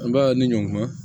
An b'a ni ɲɔn ma